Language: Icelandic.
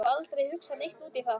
Hef aldrei hugsað neitt út í það.